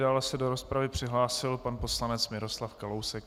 Dále se do rozpravy přihlásil pan poslanec Miroslav Kalousek.